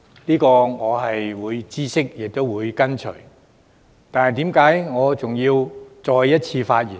雖然我明白亦會遵從，但為何我仍要再次發言呢？